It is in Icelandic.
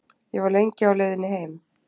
Ég var lengi á leiðinni heim.